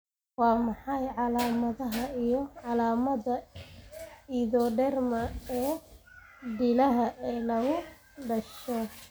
Waa maxay calaamadaha iyo calaamadaha Erythroderma ee dilaaga ah ee lagu dhasho?